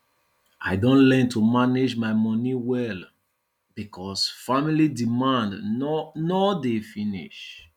i don learn to manage my moni well because family demand no no dey finish